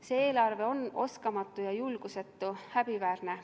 See eelarve on oskamatu ja julgusetu, häbiväärne.